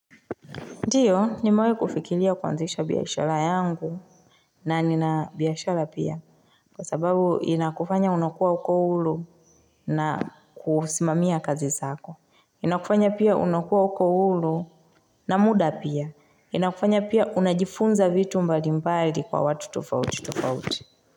Ndiyo nimewahi kufikilia kuanzisha biashala yangu na nina biashala pia kwa sababu inakufanya unakua uko huru na kusimamia kazi zako. Inakufanya pia unakua huko ulu na muda pia. Inakufanya pia unajifunza vitu mbali mbali kwa watu tofauti tofauti.